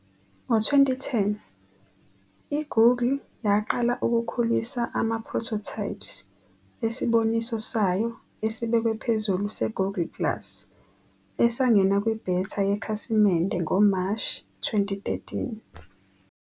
Ngo-2010, i-Google yaqala ukukhulisa ama-prototypes esibonisi sayo esibekwe phezulu se-Google Glass, esangena kwi-beta yekhasimende ngoMashi 2013.